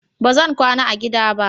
Ba zan kwana a gida ba.